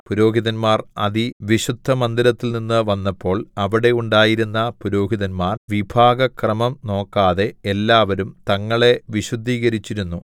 പുരോഹിതന്മാർ വിശുദ്ധമന്ദിരത്തിൽനിന്നു വന്നപ്പോൾ അവിടെയുണ്ടായിരുന്ന പുരോഹിതന്മാർ വിഭാഗ ക്രമം നോക്കാതെ എല്ലാവരും തങ്ങളെ വിശുദ്ധീകരിച്ചിരുന്നു